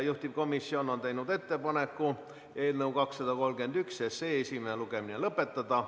Juhtivkomisjon on teinud ettepaneku eelnõu 231 esimene lugemine lõpetada.